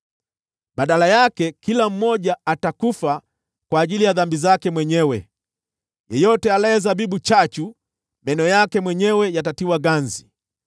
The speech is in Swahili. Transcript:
Badala yake, kila mmoja atakufa kwa ajili ya dhambi zake mwenyewe; yeyote alaye zabibu chachu, meno yake mwenyewe yatatiwa ganzi.